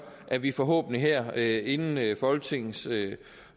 at vi forhåbentlig her inden folketinget